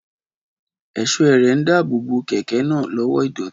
Ẹ̀ṣọ́ ẹrẹ̀ ń dáàbò bo kẹ̀kẹ́ náà lọ́wọ́ ìdọ̀tí